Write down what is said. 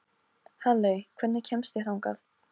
Halley, hvernig kemst ég þangað?